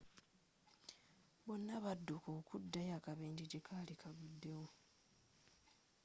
bonna badduka okuddayo akabenjje gyekali kagguddewo